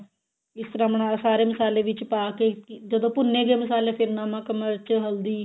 ਇਸ ਤਰ੍ਹਾਂ ਮਤਲਬ ਸਾਰੇ ਮਸਾਲੇ ਵਿੱਚ ਪਾ ਕੇ ਜਦੋਂ ਭੁੰਨੇ ਗਏ ਮਸਾਲੇ ਫਿਰ ਨਮਕ ਮਿਰਚ ਹਲਦੀ